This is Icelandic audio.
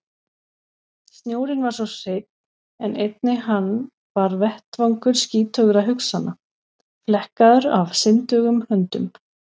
Snjórinn var svo hreinn en einnig hann var vettvangur skítugra hugsana, flekkaður af syndugum höndum.